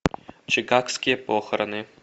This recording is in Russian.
чикагские похороны